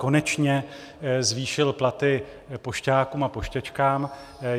Konečně zvýšil platy pošťákům a pošťačkám.